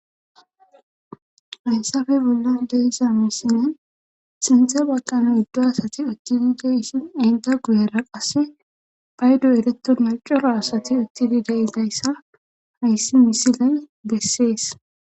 hayssafe bolla deiza misine sinthe balqan yiddo asati ekidi geishin inda guyera qasse baydo ereto macoro asati uttidi da'idayssa hayssi misiley bessees.